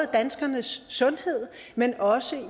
danskernes sundhed men også